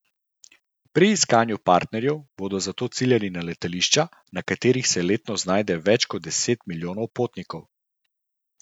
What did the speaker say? Pri iskanju partnerjev bodo zato ciljali na letališča, na katerih se letno znajde več kot deset milijonov potnikov.